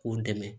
K'u dɛmɛ